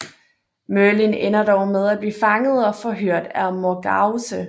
Merlin ender dog med at blive fanget og forhørt af Morgause